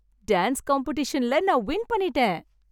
Dance காம்படிஷன்ல நான் win பண்ணிட்டேன்.